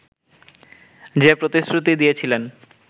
যে প্রতিশ্রুতি দিয়েছিলেন